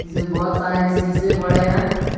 इसमें बहोत सारे शीशे पड़े हैं।